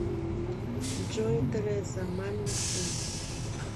джой тереза мамин сын